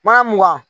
Mana mugan